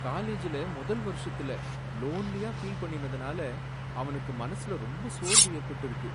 காலேஜ்ல முதல் வருஷத்துல லோன்லியா ஃபீல் பண்ணினதால அவனுக்கு மனசுல ரொம்ப சோர்வு ஏற்பட்டிருக்கு.